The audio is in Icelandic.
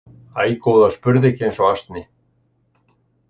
Æ, góða, spurðu ekki eins og asni.